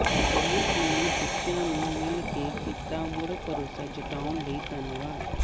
ਬੈਂਸ ਨੇ ਮਜੀਠੀਆ ਨੂੰ ਮਿਲਕੇ ਕੀਤਾ ਮੁੜ ਭਰੋਸਾ ਜਤਾਉਣ ਲਈ ਧੰਨਵਾਦ